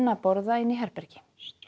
að borða inni í herbergi